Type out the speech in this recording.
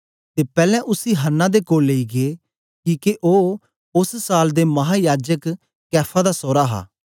ते पैलैं उसी हन्ना दे कोल लेई गै किके ओ ओस साल दे महायाजक कैफा दा सोरा हा